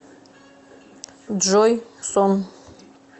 джой сон